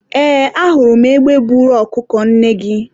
eeee, a hụrụ m egbe buru ọkụkọ nne gị